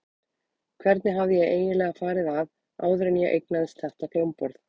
Hvernig hafði ég eiginlega farið að áður en ég eignaðist þetta hljómborð?